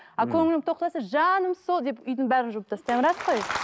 ал көңілім тоқ болса жаным сол деп үйдің бәрін жинап тастаймын рас қой